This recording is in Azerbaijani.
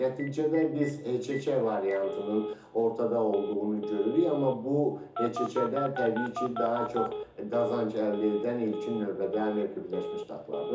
Nəticədə biz HÇÇ variantının ortada olduğunu görürük, amma bu HÇÇ-də təbii ki, daha çox qazanc əldə edən ilkin növbədə Amerika Birləşmiş Ştatlarıdır.